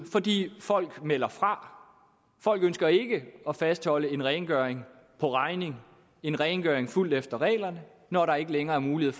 fordi folk melder fra folk ønsker ikke at fastholde en rengøring på regning en rengøring fulgt efter reglerne når der ikke længere er mulighed